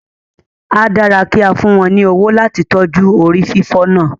A dára kí a fún wọn ní owó láti tọ́jú rí fífi náà